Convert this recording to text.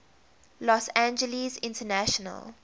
los angeles international